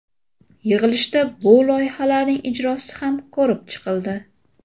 Yig‘ilishda bu loyihalarning ijrosi ham ko‘rib chiqildi.